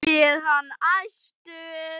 spyr hann æstur.